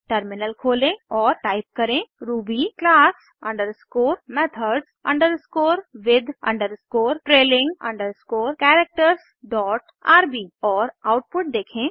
terminal खोलें और type करें ruby class underscore methods underscore with underscore trailing underscore characters dot RB और output देखें